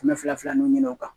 Kɛmɛ fila fila ninnu ɲini o kan